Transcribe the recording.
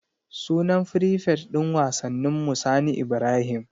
Sunan frifet din wasanninmu Sani Ibrahim.